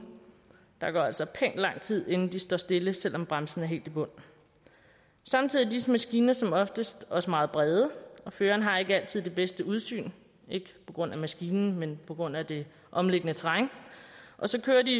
der går altså pænt lang tid inden de står stille selv om bremsen er helt i bund samtidig er disse maskiner som oftest også meget brede føreren har ikke altid det bedste udsyn ikke på grund af maskinen men på grund af det omliggende terræn og så kører de